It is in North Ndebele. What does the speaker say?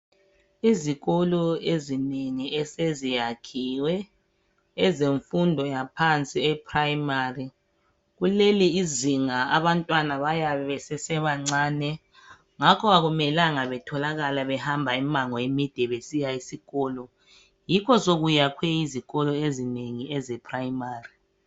Izikolo ezinengi eseziyakhiwe ezefundo yaphansi primari, kuleli izinga abantwana bayabe besesebancane ngakho ke akumelanga batholekala behamba imimango emide besiya esikolo yikho sokwakhiwe izikolo ezinengi ezeprimari.